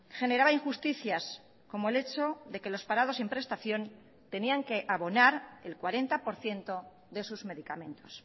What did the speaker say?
generaba injusticias como el hecho de que los parados sin prestación tenían que abonar el cuarenta por ciento de sus medicamentos